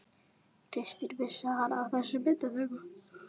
Kristinn: Vissi hann af þessi myndatöku?